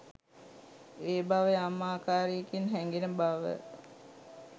ඒ බව යම් ආකාරයකින් හැඟෙන බව